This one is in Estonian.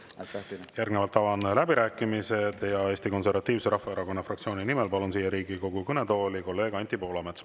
Avan läbirääkimised ja palun siia Riigikogu kõnetooli Eesti Konservatiivse Rahvaerakonna fraktsiooni nimel kõnelema kolleeg Anti Poolametsa.